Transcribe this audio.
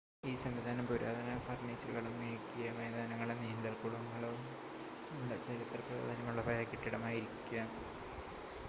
ഈ സംവിധാനം പുരാതന ഫർണിച്ചറുകളും മിനുക്കിയ മൈതാനങ്ങളും നീന്തൽക്കുളവും ഉള്ള ചരിത്ര പ്രാധാന്യമുള്ള പഴയ കെട്ടിടമായിരിക്കാം